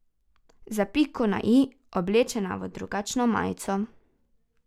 Za piko na i oblečena v drugačno majico.